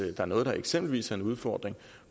er noget der eksempelvis er en udfordring